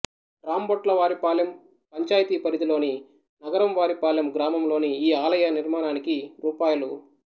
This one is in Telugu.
రాంభొట్లవారిపాలెం పంచాయతీ పరిధిలోని నగరంవారిపాలెం గ్రామంలోని ఈ ఆలయనిర్మాణానికి రు